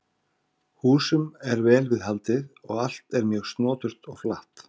Húsum er vel við haldið og allt er mjög snoturt og flatt.